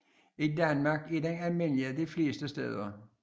I Danmark er den almindelig de fleste steder